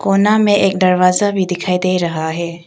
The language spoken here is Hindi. कोना में एक दरवाजा भी दिखाई दे रहा है।